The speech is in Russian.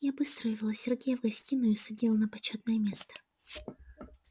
я быстро увела сергея в гостиную и усадила на почётное место